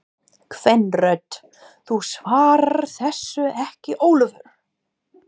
Kvenrödd: Þú svarar þessu ekki Ólafur!